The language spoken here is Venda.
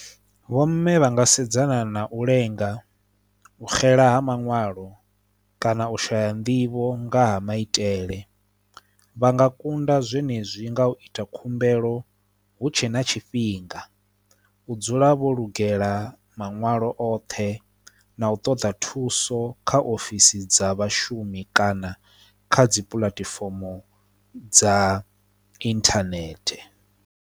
Vho mme vha nga sedzana na u lenga u xela ha maṋwalo kana u shaya nḓivho nga ha maitele vha nga kunda zwenezwi nga u ita khumbelo hu tshe na tshifhinga u dzula vho lugela maṋwalo oṱhe na u ṱoḓa thuso kha ofisi dza vhashumi kana kha dzi puḽatifomo dza internet.